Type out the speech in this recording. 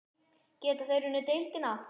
Geta þeir unnið deildina?